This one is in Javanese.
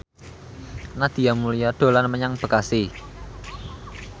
Nadia Mulya dolan menyang Bekasi